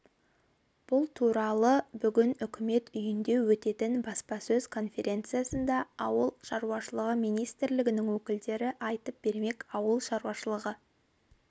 бұл туралы бүгін үкімет үйінде өтетін баспасөз конференциясында ауыл шаруашылығы министрлігінің өкілдері айтып бермек ауыл шаруашылығы